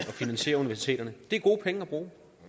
finansiere universiteterne det er gode penge at bruge